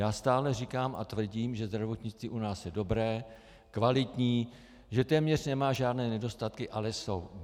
Já stále říkám a tvrdím, že zdravotnictví u nás je dobré, kvalitní, že téměř nemá žádné nedostatky, ale jsou.